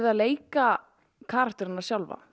að leika karakterana sjálfa